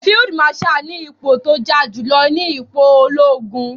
Field marshal ni ipò tó ja jùlọ nínú ipò ológun.